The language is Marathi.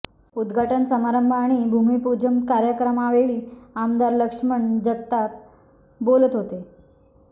उदघाटन समारंभ आणि भूमिपूजन कार्यक्रमावेळी आमदार लक्ष्मण जगताप बोलत होते